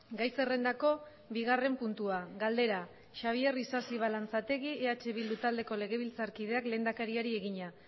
gai zerrendako bigarren puntua galdera xabier isasi balanzategi eh bildu taldeko legebiltzarkideak lehendakariari egina